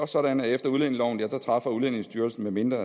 sådan at efter udlændingeloven træffer udlændingestyrelsen medmindre